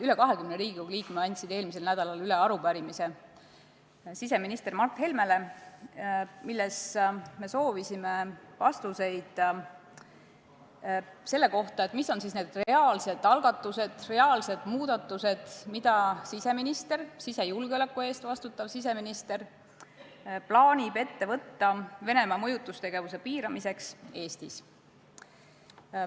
Üle 20 Riigikogu liikme andsid eelmisel nädalal üle siseminister Mart Helmele suunatud arupärimise, milles me soovisime vastuseid selle kohta, mis on need reaalsed algatused, reaalsed muudatused, mida siseminister – sisejulgeoleku eest vastutav siseminister – plaanib ette võtta Venemaa mõjutustegevuse piiramiseks Eestis.